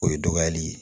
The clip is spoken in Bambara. O ye dɔgɔyali ye